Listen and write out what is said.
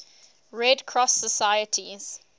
red cross societies